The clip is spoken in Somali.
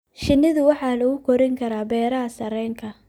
Shinnidu waxa lagu korin karaa beeraha sarreenka.